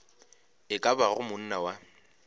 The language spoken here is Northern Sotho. e ka bago monna wa